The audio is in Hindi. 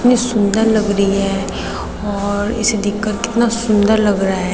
कितनी सुंदर लग री हैं और इसे दिख कर कितना सुंदर लग रहा है।